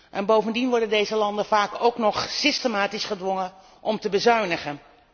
En bovendien worden deze landen vaak ook nog systematisch gedwongen om te bezuinigen.